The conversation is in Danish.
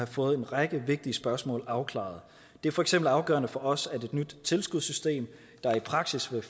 få en række vigtige spørgsmål afklaret det er for eksempel afgørende for os at et nyt tilskudssystem der i praksis vil